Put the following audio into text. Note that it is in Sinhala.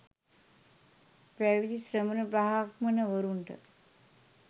පැවිදි ශ්‍රමණ බ්‍රාහ්මණවරුන්ට